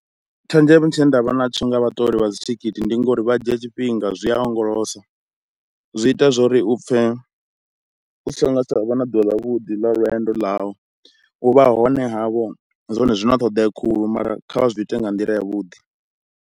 Tshenzhelo tshine ndavha natsho nga vha ṱori vha dzithikhithi ndi ngori vha dzhia tshifhinga, zwi a onyolosa, zwi ita zwori u pfhe usi ngo tsha vha na ḓuvha ḽa vhuḓi lwendo ḽavho. U vha hone havho zwone zwi na ṱhoḓea khulu mara kha vha zwi ite nga nḓila ya vhuḓi.